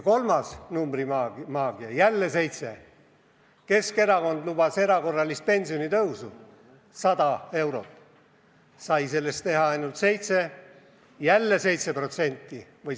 Kolmas näide numbrimaagiast, jälle number 7: Keskerakond lubas erakorralist pensionitõusu 100 eurot, sai sellest ellu viia ainult 7 eurot.